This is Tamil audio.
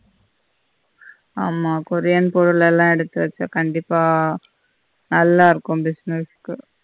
ஆமா கொரியன் பொருளெல்லாம் எடுத்து வெச்சா கண்டிப்பா நல்லா இருக்கும் business கு